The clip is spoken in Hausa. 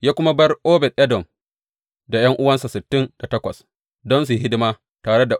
Ya kuma bar Obed Edom da ’yan’uwansa sittin da takwas don su yi hidima tare.